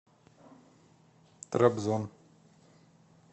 трабзон